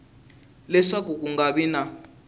leswaku ku nga vi na